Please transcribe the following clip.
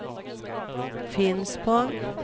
Finspång